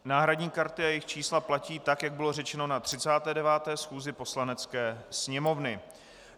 Náhradní karty a jejich čísla platí tak, jak bylo řečeno na 39. schůzi Poslanecké sněmovny.